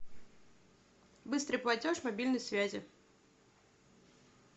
быстрый платеж мобильной связи